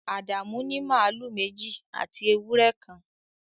Adamu ní màlúù méjì àti ewúrẹ́ kan